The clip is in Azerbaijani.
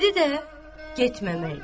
biri də getməmək idi.